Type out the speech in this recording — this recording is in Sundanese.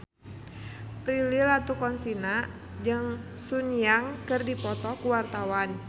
Prilly Latuconsina jeung Sun Yang keur dipoto ku wartawan